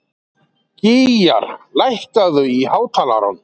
Gýgjar, lækkaðu í hátalaranum.